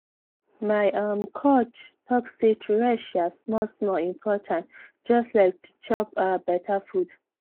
my um coach talk say to rest um small-small important just like to chop um better food.